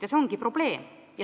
Ja see ongi probleem.